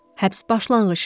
Həbs başlanğıcdır.